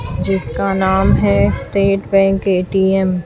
जिसका नाम है स्टेट बैंक ए_टी_एम --